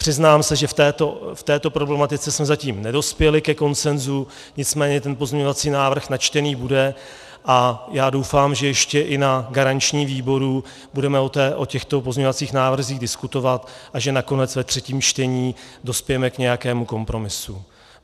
Přiznám se, že v této problematice jsme zatím nedospěli ke konsenzu, nicméně ten pozměňovací návrh načtený bude a já doufám, že ještě i na garančním výboru budeme o těchto pozměňovacích návrzích diskutovat a že nakonec ve třetím čtení dospějeme k nějakému kompromisu.